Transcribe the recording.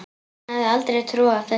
Hún hefði aldrei trúað þessu.